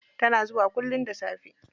Tana zuwa kullum da safe.